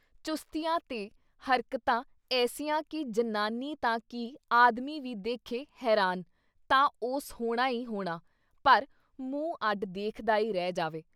ਚੁਸਤੀਆਂ ਤੇ ਹਰਕਤਾਂ ਐਸੀਆਂ ਕਿ ਜਨਾਨੀ ਤਾਂ ਕੀ ਆਦਮੀ ਵੀ ਦੇਖੇ ਹੈਰਾਨ ਤਾਂ ਉਸ ਹੋਣਾ ਈ ਹੋਣਾ ਪਰ ਮੂੰਹ ਅੱਡ ਦੇਖਦਾ ਈ ਰਹਿ ਜਾਵੇ।